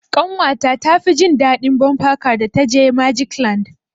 Ƙanwa ta tafi jin daɗin bumper car da ta je magic land.